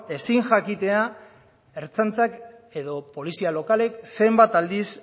ezin jakitea ertzaintza edo polizia lokalek zenbat aldiz